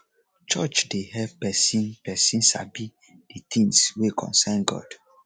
church dey help pesin pesin sabi de things wey concern god